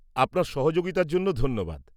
-আপনার সহযোগিতার জন্য ধন্যবাদ।